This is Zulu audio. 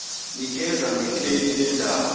nikeza ngekheli lendawo